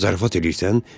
Zarafat eləyirsən?